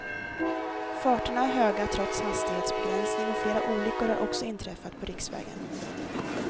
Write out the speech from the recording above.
Farterna är höga trots hastighetsbegränsning och flera olyckor har också inträffat på riksvägen.